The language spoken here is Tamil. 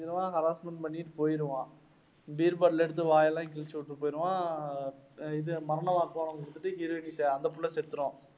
இவன் harassment பண்ணிட்டு போயிடுவான், beer bottle எடுத்து வாயெல்லாம் கிழிச்சுவிட்டு போயிடுவான் அஹ் இது மரண வாக்குமூலம் குடுத்துட்டு அந்த புள்ள செத்துடும்.